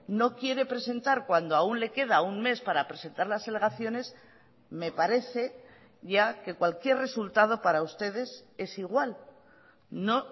no quiere presentar cuando aún le queda un mes para presentar las alegaciones me parece ya que cualquier resultado para ustedes es igual no